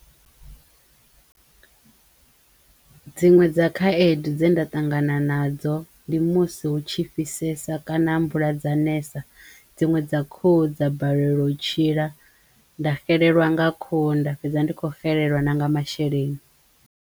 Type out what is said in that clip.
Dziṅwe dza khaedu dze nda ṱangana nadzo ndi musi hu tshi fhisesa kana mvula dza ness dziṅwe dza khuhu dza balelwa u tshila nda xelelwa nga khuhu nda fhedza ndi kho xelelwa na nga masheleni.